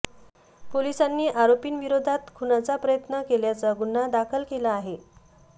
पोलिसांनी आरोपींविरोधात खुनाचा प्रयत्न केल्याचा गुन्हा दाखल केला आहे